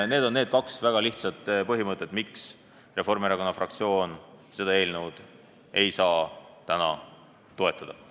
Need on need kaks väga lihtsat põhimõtet, mille tõttu Reformierakonna fraktsioon seda eelnõu ei saa täna toetada.